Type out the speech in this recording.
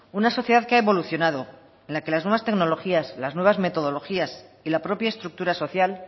una sociedad que ha evolucionado en la que las nuevas tecnologías las nuevas metodologías y la propia estructura social